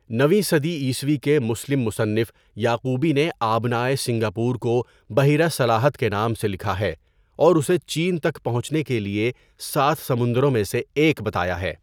نویں صدی عیسوی کے مسلم مصنف یعقوبی نے آبنائے سنگاپور کو بحیرہ سلاهط کے نام سے لکھا ہے اور اسے چین تک پہنچنے کے لیے سات سمندروں میں سے ایک بتایا ہے.